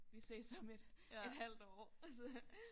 Vi ses om et et halvt år og så